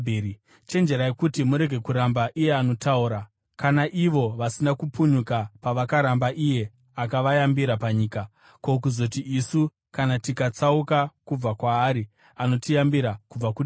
Chenjerai kuti murege kuramba iye anotaura. Kana ivo vasina kupunyuka pavakaramba iye akavayambira panyika, ko, kuzoti isu kana tikatsauka kubva kwaari anotiyambira kubva kudenga?